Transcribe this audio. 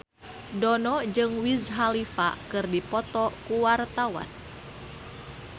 Dono jeung Wiz Khalifa keur dipoto ku wartawan